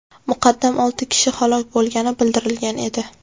Muqaddam olti kishi halok bo‘lgani bildirilgan edi .